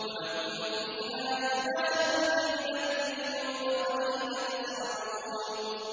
وَلَكُمْ فِيهَا جَمَالٌ حِينَ تُرِيحُونَ وَحِينَ تَسْرَحُونَ